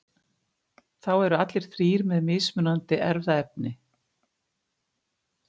þá eru allir þrír með mismunandi erfðaefni